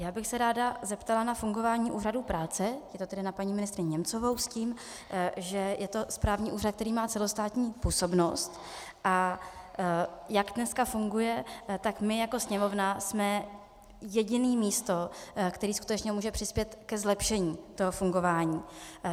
Já bych se ráda zeptala na fungování Úřadu práce, je to tedy na paní ministryni Němcovou, s tím, že je to správní úřad, který má celostátní působnost, a jak dneska funguje, tak my jako Sněmovna jsme jediné místo, které skutečně může přispět ke zlepšení toho fungování.